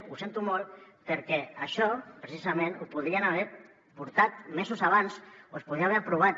ho sento molt perquè això precisament ho podrien haver portat mesos abans o es podia haver aprovat